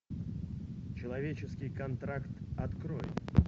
человеческий контракт открой